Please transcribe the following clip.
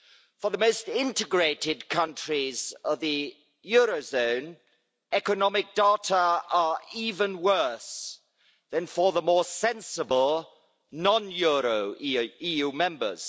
For the most integrated countries of the eurozone, economic data are even worse than for the more sensible non euro EU Members.